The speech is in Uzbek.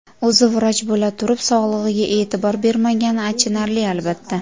O‘zi vrach bo‘la turib, sog‘lig‘iga e’tibor bermagani achinarli albatta.